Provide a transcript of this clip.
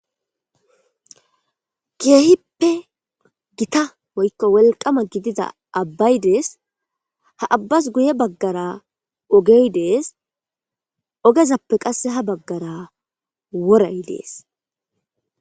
Keehippe gita oykko wolqama gidida abbay dees ha abbas guye baggara ogey dees ogezappe qasse ha baggara woray dees.